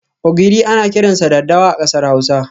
Ogiri ana kiransa 'dadawa' a kasar Hausa.